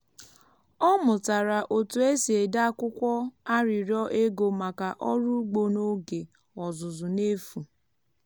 ọ mụtara otu esi ede akwụkwọ arịrịọ ego maka oru ugbo n’oge ọzụzụ n’efu.